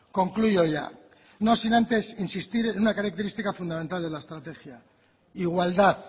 concluyo ya no sin antes insistir en una característica fundamental de la estrategia igualdad